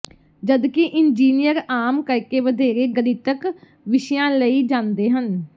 ਜਦਕਿ ਇੰਜੀਨੀਅਰ ਆਮ ਕਰਕੇ ਵਧੇਰੇ ਗਣਿਤਕ ਵਿਸ਼ਿਆਂ ਲਈ ਜਾਂਦੇ ਹਨ